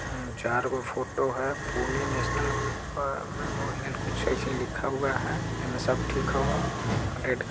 आ चार गो फोटो है पुणे नेशनल वॉर मेमोरियल कुछ इसे लिखा हुआ हई एमे सब ठीक हु अं रेड| --